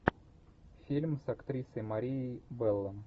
фильм с актрисой марией белло